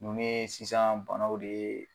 Nunnu ye sisan banaw de ye